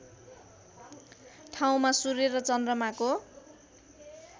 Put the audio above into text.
ठाउँमा सूर्य र चन्द्रमाको